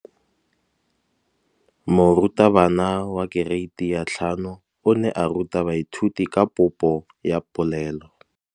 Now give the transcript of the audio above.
Moratabana wa kereiti ya 5 o ne a ruta baithuti ka popô ya polelô.